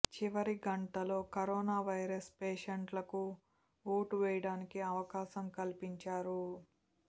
చివరి గంటలో corona virus పేషెంట్లకు ఓటు వేయడానికి అవకాశం కల్పించారు